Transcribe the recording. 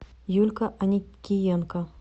юлька аникиенко